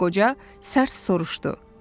deyə qoca sərt soruşdu.